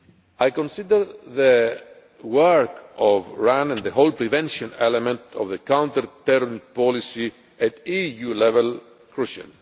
I consider the work of RAN and the whole prevention element of the counter terrorism policy at EU level to be crucial.